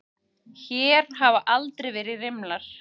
Hér hafa aldrei verið rimlar.